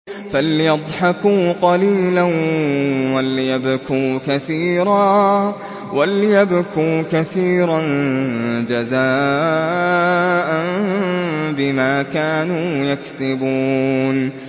فَلْيَضْحَكُوا قَلِيلًا وَلْيَبْكُوا كَثِيرًا جَزَاءً بِمَا كَانُوا يَكْسِبُونَ